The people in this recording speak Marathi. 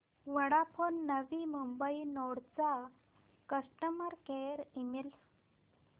वोडाफोन नवी मुंबई नोड चा कस्टमर केअर ईमेल